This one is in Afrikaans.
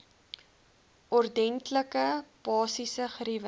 ordentlike basiese geriewe